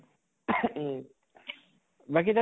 উম । বাকী তাত